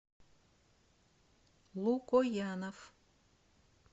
лукоянов